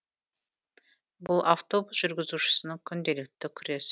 бұл автобус жүргізушісінің күнделікті күрес